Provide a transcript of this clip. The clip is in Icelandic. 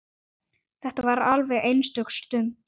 Þetta var alveg einstök stund.